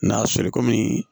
N'a feere kɔmi